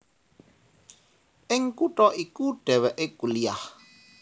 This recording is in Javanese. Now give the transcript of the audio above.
Ing kutha iku dhèwèké kuliah